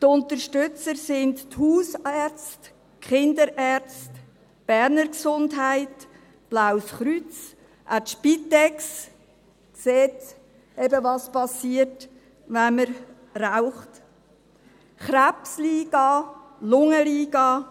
Die Unterstützer sind die Hausärzte, die Kinderärzte, Berner Gesundheit (Beges), das Blaue Kreuz – auch die Spitex sieht eben, was passiert, wenn man raucht – die Krebsliga und die Lungenliga.